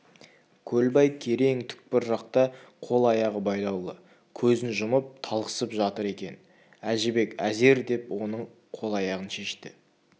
көлбай керең түкпір жақта қол-аяғы байлаулы көзін жұмып талықсып жатыр екен әжібек әзер деп оның қол-аяғын шешті